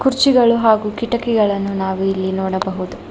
ಕುರ್ಚಿಗಳು ಹಾಗೂ ಕಿಟಕಿಗಳನ್ನು ನಾವು ಇಲ್ಲಿ ನೋಡಬಹುದು.